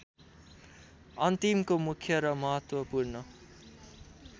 अन्तिमको मुख्य र महत्त्वपूर्ण